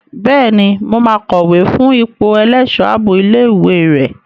Bẹ́ẹ̀ni, mo máa kọ̀wé fún ipò ẹlẹ́ṣọ̀ ààbò ilé ìwé rẹ.